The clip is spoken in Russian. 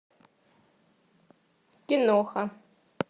киноха